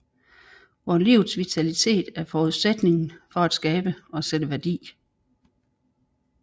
Hvor livets vitalitet er forudsætningen for at skabe og sætte værdi